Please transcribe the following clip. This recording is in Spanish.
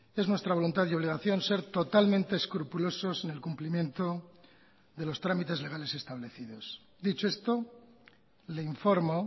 es nuestra voluntad y obligación ser totalmente escrupulosos en el cumplimiento de los trámites legales establecidos dicho esto le informo